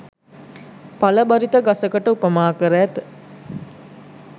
ඵල බරිත ගසකට උපමා කර ඇත.